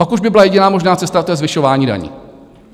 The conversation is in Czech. Pak už by byla jediná možná cesta, a to je zvyšování daní.